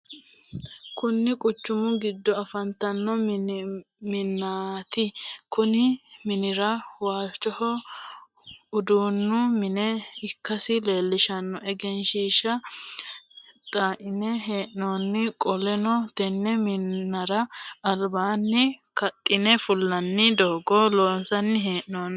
Kunni quchumu gido afantano minnaati. Konni minnira waalchoho uduunnu mine ikasi leelishano egenshiisha xaline hee'nonni. Qoleno tenne minnara albaanni kaxinne fulanni doogo loonsanni hee'noonni.